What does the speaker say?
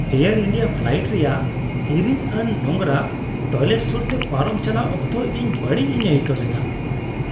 Air India flight ᱨᱮᱭᱟᱜ ᱦᱤᱨᱤᱡᱽᱟᱱ ᱟᱨ ᱱᱳᱝᱨᱟ ᱴᱚᱭᱞᱮᱴ ᱥᱩᱨᱛᱮ ᱯᱟᱨᱚᱢ ᱪᱟᱞᱟᱜ ᱚᱠᱛᱚ ᱤᱧ ᱵᱟᱹᱲᱤᱡᱽᱼᱤᱧ ᱟᱹᱭᱠᱟᱹᱣ ᱞᱮᱫᱟ ᱾